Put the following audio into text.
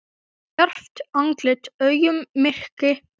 Stjarft andlit, augun myrk, tóm.